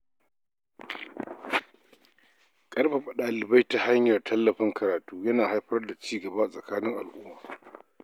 Ƙarfafa dalibai ta hanyar tallafin karatu yana haifar da cigaban a tsakanin al'umma.